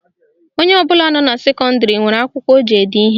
Onye ọbụla nọ na sekọndịrị nwere akwụkwọ o ji ede ihe